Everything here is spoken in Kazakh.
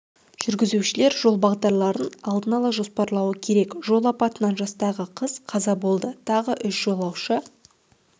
жүргізушілер жол бағдарларын алдын ала жоспарлауы керек жол апатынан жастағы қыз қаза болды тағы үш жолаушы